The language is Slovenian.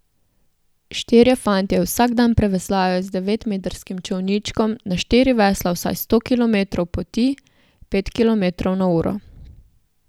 Štirje fantje vsak dan preveslajo z devetmetrskim čolničkom na štiri vesla vsaj sto kilometrov poti, pet kilometrov na uro.